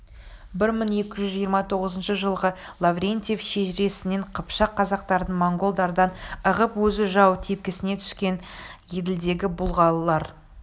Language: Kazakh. бір мың екі жүз жиырма тоғызыншы жылғы лаврентьев шежіресінен қыпшақ-қазақтардың монғолдардан ығып өзі жау тепкісіне түскен еділдегі бұлғарлар